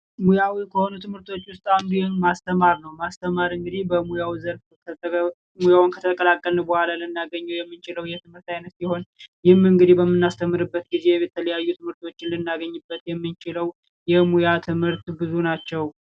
ሙያዊ ከሆኑ ትምህርቶች ውስጥ አንዱ ማስተማር ነው። ማስተማር እንግዲህ በሙያው ዘርፍ ሙያውን ከተቀላቀል በኋላ ልናገኘው የሚችለው የትምህርት አይነት ሲሆን፤ ይህም እንግዲ በምናስተምርበት ጊዜ የተለያዩ ትምህርቶችን ልናገኝበት የምንችለው የሙያ ትምህርት ብዙ ናቸው።